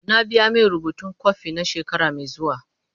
Na biya mai rubutun kwafi na shekara mai zuwa.